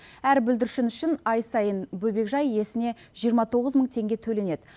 әр бүлдіршін үшін ай сайын бөбекжай иесіне жиырма тоғыз мың теңге төленеді